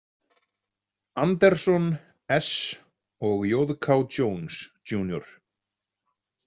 Anderson, S og J K Jones, Jr